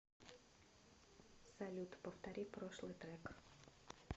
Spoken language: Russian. салют повтори прошлый трек